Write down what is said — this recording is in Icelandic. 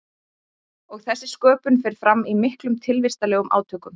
Og þessi sköpun fer fram í miklum tilvistarlegum átökum.